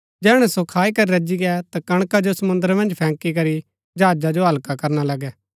जैहणै सो खाई करी रजी गै ता कणका जो समुंद्र मन्ज फैंकी करी जहाजा जो हल्का करणा लगै